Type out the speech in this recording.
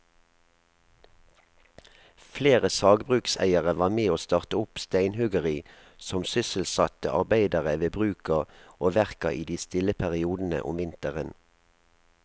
Flere sagbrukseiere var med å starte opp steinhuggeri som sysselsatte arbeidere ved bruka og verka i de stille periodene om vinteren.